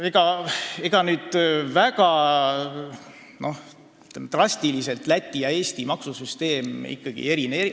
Samas, ega Läti ja Eesti maksusüsteem drastiliselt erinevad ei ole.